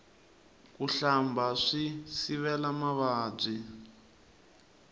ku hlamba swi sivela mavabyi